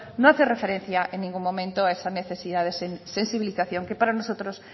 no hace referencia en ningún momento a esas necesidades y sensibilización que para nosotros